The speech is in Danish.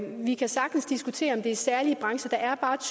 vi kan sagtens diskutere om det er særlige brancher der er bare